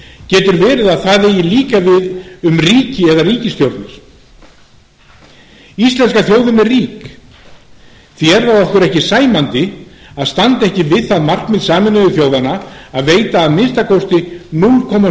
getur verið að það eigi líka við um ríki eða ríkisstjórnir íslenska þjóðin er rík því er okkur ekki sæmandi að standa ekki við það markmið sameinuðu þjóðanna að veita að minnsta kosti núll komma